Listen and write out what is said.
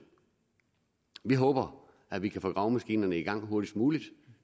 vi håber at vi kan få gravemaskinerne i gang hurtigst muligt